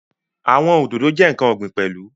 Àwọn Òdòdó jẹ́ ǹkan ọ̀gbìn pẹ̀lú